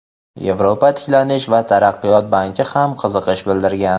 Yevropa tiklanish va taraqqiyot banki ham qiziqish bildirgan.